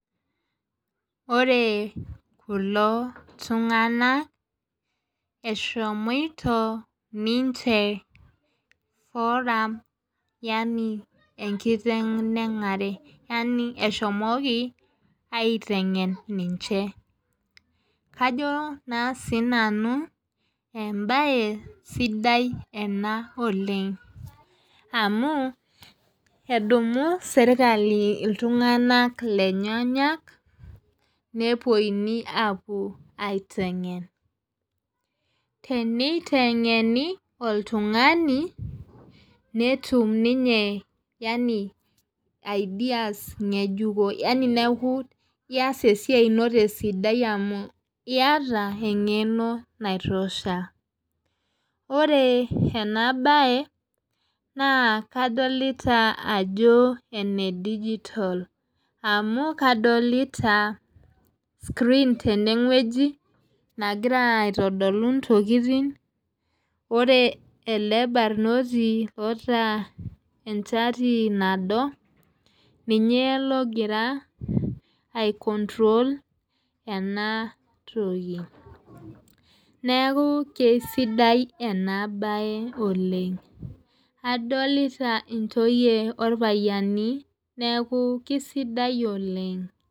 Ore kulo tunganak eshomoito ninche. forum yaani enkiteng' enare yaani eshomoki aitengen ninche. kajo naa sii nanu ebae sidai ena oleng, amu edumu sirkali iltunganak lenyenyem, nepuonunui aapuo aitengen. teneitengeni oltungani netum ninye yaani ideas ngejuko yaani neeku kees esiai ino tesidai amu iyata engeno naitosha. ore ena bae naa kadolita Ajo ene digital amu kadolita screen tene wueji nagira aitodolu, ntokitin ore ele barnoti oota enchati nado, ninye logira ai control ena toki neeku kesidai ena bae oleng. adolita ntoyue orpayiani neku kisidai oleng .